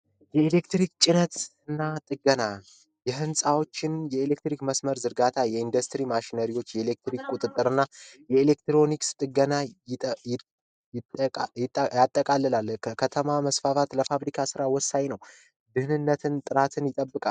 የህንፃዎችን የኤሌክትሪክ መስመር ዝርጋታ የኢንዱስትሪ ማሽኖች የኤሌክትሪክ ቁጥጥርና የኤሌክትሮኒክስ ጥገና መስፋፋት ለፋብሪካ ስራ ወሳኝ ነው ጥራትን ይጠብቃል።